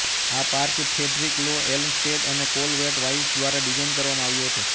આ park Frederick Law Olmsted અને Calvert Vaux દ્વારા ડિઝાઇન કરવામાં આવ્યો હતો